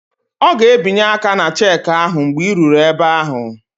Ọ ga-ebinye aka ná cheeki ahụ mgbe ị ruru ebe ahụ